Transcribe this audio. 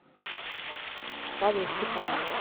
павел степанович